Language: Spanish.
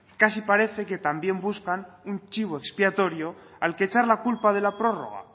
casi parecen que también buscan un chivo expiatorio al que echar la culpa de la prórroga